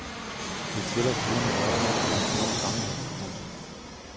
Det tæller forhåbentlig også i den store sammenhæng. punktum